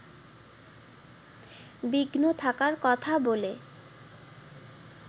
বিঘ্ন থাকার কথা বলে